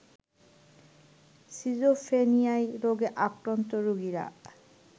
schizophrenia রোগে আক্রান্ত রোগীরা